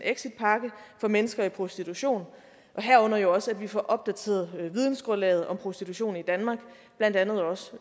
exitpakke for mennesker i prostitution herunder jo også at vi får opdateret vidensgrundlaget om prostitution i danmark og blandt andet også